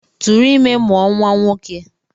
Tụrụ ime mụọ nwa nwoke!